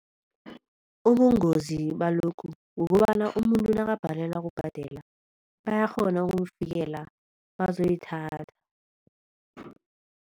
Ubungozi balokhu kukobana umuntu nakabhalelwa kubhadela bayakghona ukumfikela bazoyithatha.